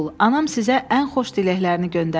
Anam sizə ən xoş diləklərini göndərdi.